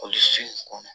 Olu fin kɔnɔ